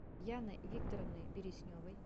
яной викторовной бересневой